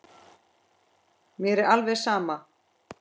Mér er alveg sama